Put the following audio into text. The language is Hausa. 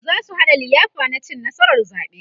zasu haɗa liyafa na cin nasarar zaɓe